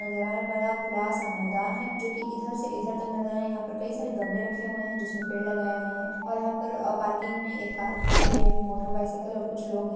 घर नजर आ रहे है बड़ा खुला सा मैदान है जो की इधर से उधर तक नजर आ रहा है यंहा पर कई सारे गमले रखे हुए है जिसमे पेड़ लगाए गए है और यंहा पर पार्किंग मे एक कार खड़ी हुई है एक मोटर बायसाइकल और कुछ लोग है।